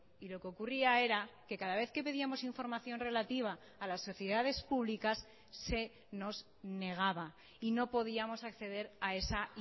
y lo que ocurría era que cada vez que pedíamos información relativa a las sociedades públicas se nos negaba y no podíamos acceder a esa